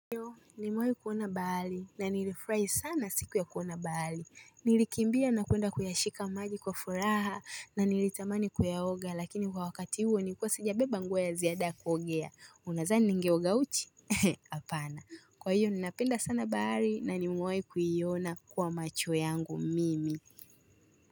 Nimewahi kuona bahari na nilifurahi sana siku ya kuona bahari. Nilikimbia na kuenda kuyashika maji kwa furaha na nilitamani kuyaoga lakini kwa wakati huo niiikuwa sijabeba nguo ya ziada kuogea. Unadhani ningeoga uchi? He, hapana. Kwa hivyo ninapenda sana bahari na nimewahi kuiona kwa macho yangu mimi.